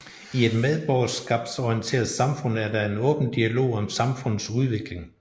I et medborgerskabsorienteret samfund er der en åben dialog om samfundets udvikling